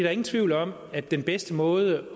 er ingen tvivl om at den bedste måde